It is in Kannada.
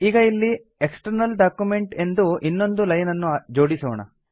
ಈಗ ಇಲ್ಲಿ ಎಕ್ಸ್ಟರ್ನಲ್ ಡಾಕ್ಯುಮೆಂಟ್ ಎಂದು ಇನ್ನೊಂದು ಲೈನ್ ಅನ್ನು ಜೋಡಿಸೋಣ